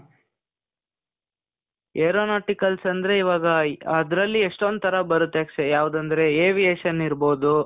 aeronautical ಅಂದ್ರೆ, ಇವಾಗ ಅದ್ರಲ್ಲಿ ಎಷ್ಟೊಂದ್ ಥರ ಬರುತ್ತೆ ಅಕ್ಷಯ್. ಯಾವ್ದಂದ್ರೆ aviation ಇರ್ಬಹುದು,